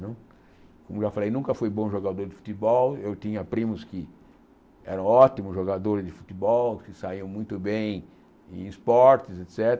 Como já falei, nunca fui bom jogador de futebol, eu tinha primos que eram ótimos jogadores de futebol, que saíam muito bem em esportes, et cétera.